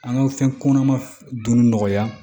An ka fɛn kɔnɔma dun nɔgɔya